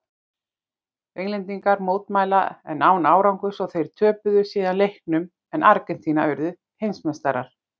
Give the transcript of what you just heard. Englendingar mótmæltu en án árangurs og þeir töpuðu síðan leiknum en Argentína urðu heimsmeistarar.